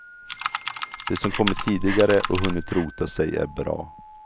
De som kommit tidigare och hunnit rota sig är bra.